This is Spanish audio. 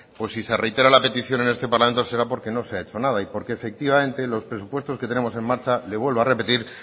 pues si se reitera la petición en este parlamento será porque no se ha hecho nada y porque efectivamente los presupuestos que tenemos en marcha le vuelvo a repetir